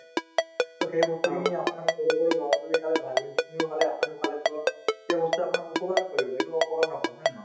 so, সেইবস্তুখিনিয়ে আপোনাৰ সৰু সৰু লৰা-ছোৱালি খালে , ভাই-ভণ্টিখিনিও খালে আপুনিও খালে so সেইবস্তুয়ে আপোনাক উপকাৰ কৰিব এইবোৰ অপকাৰ নকৰে হয় নে নহয়